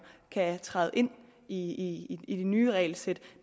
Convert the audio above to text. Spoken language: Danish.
kan træde ind i ind i de nye regelsæt